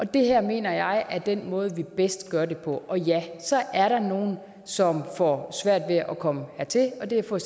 det her mener jeg er den måde vi bedst gør det på og ja så er der nogle som får svært ved at komme hertil og det er for